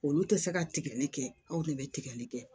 Olu tɛ se ka tigɛli kɛ aw de bɛ tigɛli kɛ